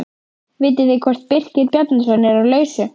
Vitið þið hvort Birkir Bjarnason er á lausu?